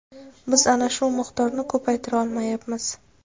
Biz ana shu miqdorni ko‘paytira olmayapmiz.